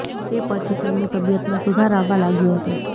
તે પછી તેમની તબિયતમાં સુધાર આવવા લાગ્યો હતો